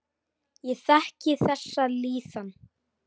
Ég þekki þessa líðan.